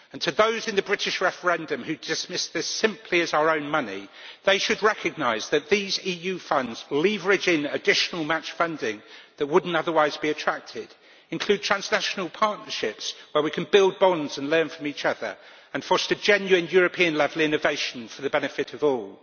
Those in the British referendum who dismiss this simply as our own money should recognise that these EU funds leverage additional match funding that would not otherwise be attracted, include transnational partnerships where we can build bonds and learn from each other, and foster genuine European level innovation for the benefit of all.